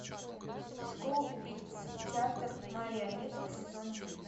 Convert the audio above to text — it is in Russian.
школа убийц театр марионеток сезон девять